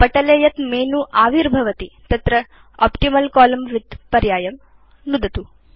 पटले यत् मेनु आविर्भवति तत्र ऑप्टिमल् कोलम्न विड्थ पर्यायं नुदतु